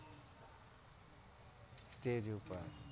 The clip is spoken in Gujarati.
stage ઉપર